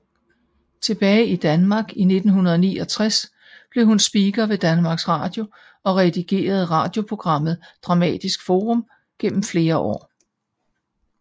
Tilbage i Danmark i 1969 blev hun speaker ved Danmarks Radio og redigerede radioprogrammet Dramatisk Forum gennem flere år